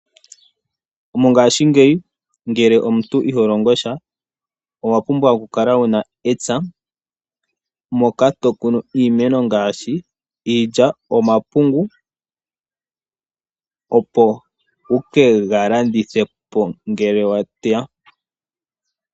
Mongashingeyi ngele omuntu iho longo sha owapumbwa okukala wuna epya moka tokunu iimeno ngashi iilya , omapungu opo wuke galandithe po ngele wa teya.